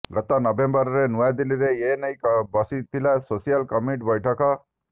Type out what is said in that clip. ଗତ ନଭେମ୍ବରରେ ନୂଆଦିଲ୍ଲୀରେ ଏନେଇ ବସିଥିଲା ସ୍ପେଶାଲ କମିଟି ବୈଠକ